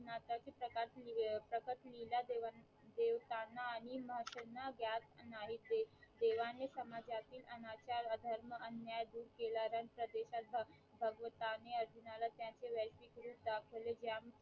प्रकट लीला देवन देवतांना आणि महर्षींना ज्ञान नाही देत देवाने समाजातील अनाचार अधर्म अन्याय दूर केला नंतंर भगवंताने अर्जुनला त्यांचे वैतीक रूप दाखवले त्याम